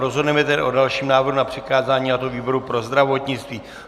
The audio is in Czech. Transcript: Rozhodneme tedy o dalším návrhu na přikázání, a to výboru pro zdravotnictví.